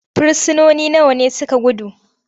frisinoni nawa ne suka gudu?